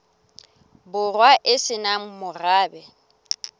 borwa e se nang morabe